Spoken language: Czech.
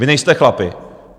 Vy nejste chlapi.